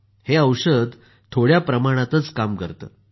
हे औषध थोड्या प्रमाणातच काम करतं